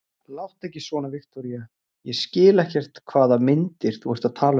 Láttu ekki svona, Viktoría, ég skil ekkert hvaða myndir þú ert að tala um.